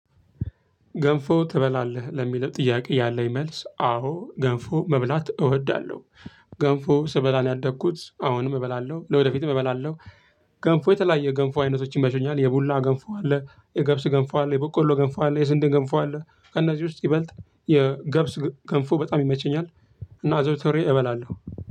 ገንፎ ትበላለህ ለሚለው ጥያቄ ያለኝ መልስ አዎ ገንፎ መብላት እወዳለሁ ገንፎ ስበላ ነው ያደግኩት አሁንም እበላለሁ ለወደፊትም እበላለሁ። ገንፎ የተለያየ ገንፎ አይነቶችን ይመቹኛል የቡላ ገንፎ አለ የገብስ ገንፎ አለ የበቆሎ ገንፎ አለ የስንዴ ገንፎ አለ ከእነዚህ ውስጥ ይበልጥ የገብስ ገንፎ በጣም ይመቸኛል። እና አዘውተሬ እበላለሁ።